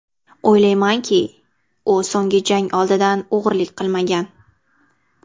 O‘ylaymanki, u so‘nggi jang oldidan og‘rilik qilmagan.